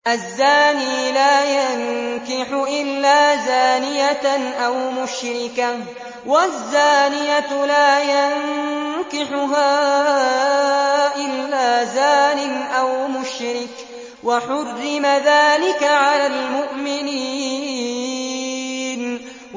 الزَّانِي لَا يَنكِحُ إِلَّا زَانِيَةً أَوْ مُشْرِكَةً وَالزَّانِيَةُ لَا يَنكِحُهَا إِلَّا زَانٍ أَوْ مُشْرِكٌ ۚ وَحُرِّمَ ذَٰلِكَ عَلَى الْمُؤْمِنِينَ